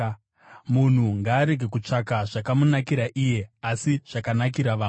Munhu ngaarege kutsvaka zvakamunakira iye, asi zvakanakira vamwe.